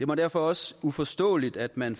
mig derfor også uforståeligt at man